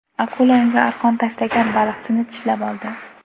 Akula unga arqon tashlagan baliqchini tishlab oldi.